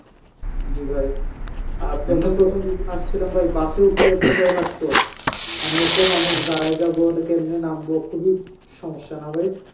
জি ভাই আর যেদিন আসছিলাম ভাই bus এ উঠতে এত ভয় লাগতো মানে এত মানুষ দাঁড়ায় যাব এটা কেমনে নামবো খুবই সমস্যা না ভাই